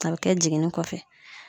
A be kɛ jiginni kɔfɛ